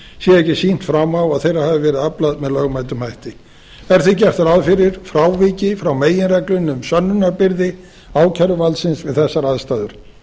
ekki sýnt fram á að þeirra hafi verið aflað með lögmætum hætti er því gert ráð fyrir fráviki frá meginreglunni um sönnunarbyrði ákæruvaldsins við þessar aðstæður